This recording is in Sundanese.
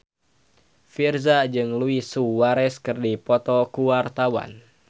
Virzha jeung Luis Suarez keur dipoto ku wartawan